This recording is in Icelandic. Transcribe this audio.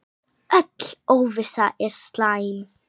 Öll óvissa er slæm.